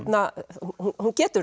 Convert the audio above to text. hún getur